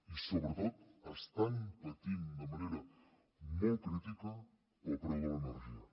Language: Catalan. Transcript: i sobretot estan patint de manera molt crítica pel preu de l’energia